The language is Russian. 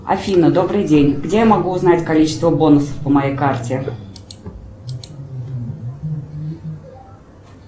афина добрый день где я могу узнать количество бонусов по моей карте